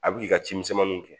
A bi k'i ka cimisɛnninw kɛ